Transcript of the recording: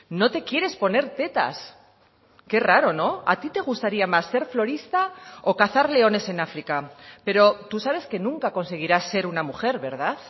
no te quieres poner tetas qué raro no a ti te gustaría más ser florista o cazar leones en áfrica pero tú sabes que nunca conseguirás ser una mujer verdad